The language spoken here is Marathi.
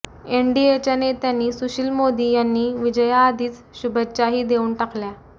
एनडीएच्या नेत्यांनी सुशील मोदी यांनी विजयाआधीच शुभेच्छाही देऊन टाकल्या